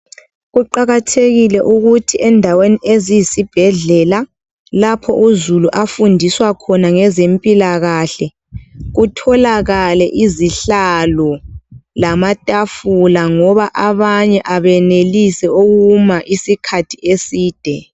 Kuqakathekile ukuthi endaweni eziyisibhedlela ,lapho uzulu afundiswa khona ngezempilakahle kutholakale izihlalo lamatafula ngoba abanye abenelisi ukuma isikhathi eside.